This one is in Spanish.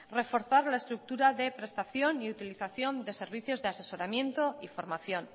reforzar la estructura de prestación y utilización de servicios de asesoramiento y formación